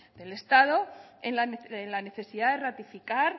del estado en la necesidad de ratificar